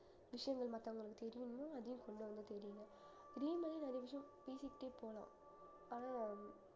விசயங்கள் மத்தவங்களுக்கு தெரியணுமோ அதையும் கொண்டு வந்து இதே மாதிரி நிறைய விஷயம் பேசிக்கிட்டே போகலாம் ஆனா